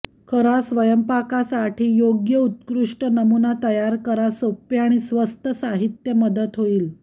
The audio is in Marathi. खरा स्वयंपाकासाठी योग्य उत्कृष्ट नमुना तयार करा सोपे आणि स्वस्त साहित्य मदत होईल